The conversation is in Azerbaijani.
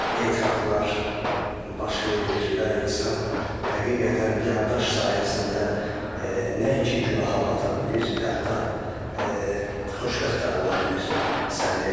Etiraflar baş verir və insan həqiqətən yaddaş sayəsində nəinki günaha bata bilir, hətta xoşbəxt də ola bilir sən demə.